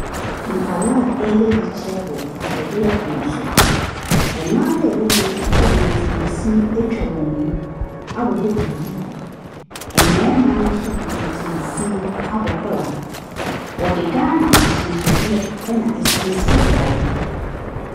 Nkwaraa wɔreyɛ yikyerɛ wɔ ahwɛdeɛ pono so. Mmaa a wɔwɔ mu no de ntomasin atwa wɔn mu abobɔbobɔ duku. Mmarima nso de ntomasin abɔ kɔla. Wɔde Ghana ahyɛnsodeɛ na asiesje biara.